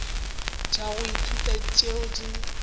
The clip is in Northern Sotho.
tša go ithuta tšeo di